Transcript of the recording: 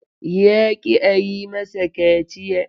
Ya ƙi a yi masa kaciya.